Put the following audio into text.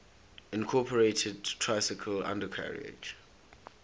incorporated tricycle undercarriage